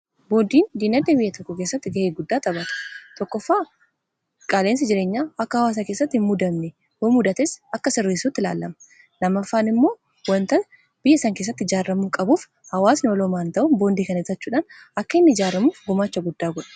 boondiin diinagdee biyya tokko keessatti ga'ee guddaa taphata. tokkoffaa qaala, insi jireenyaa akka hawaasaa kessatti hin mudanne yoo mudates akka sirresuutti ilaallama . lamaffaan immoo wanta biyya isaan keessatti ijaarramuu qabuuf hawaasni waloomaan ta'un boondii kana bitachuudhaan akka inni ijaaramuuf gumaacha guddaa godha.